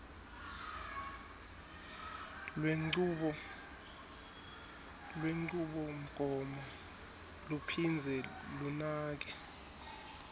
lwenchubomgomo luphindze lunake